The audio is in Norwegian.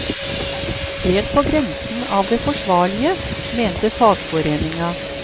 Helt på grensen av det forsvarlige, mente fagforeninga.